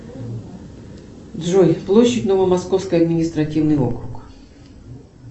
джой площадь новомосковский административный округ